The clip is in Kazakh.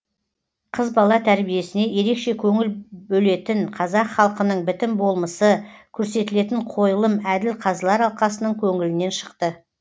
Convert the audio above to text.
қыз бала тәрбиесіне ерекше көңіл бөлетін қазақ халқының бітім болмысы көрсетілетін қойылым әділ қазылар алқасының көңілінен шықты